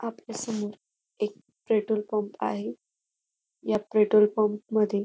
आपल्यासमोर एक petrol pump आहे या पेट्रोल पंप मध्ये --